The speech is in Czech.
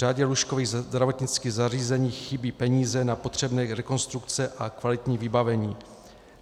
Řadě lůžkových zdravotnických zařízení chybí peníze na potřebné rekonstrukce a kvalitní vybavení.